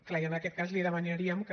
clar i en aquest cas li demanaríem que